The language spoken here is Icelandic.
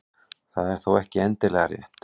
Það er þó ekki endilega rétt.